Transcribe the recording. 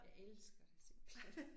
Jeg elsker det simpelthen